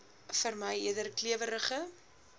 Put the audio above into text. vermy eerder klewerige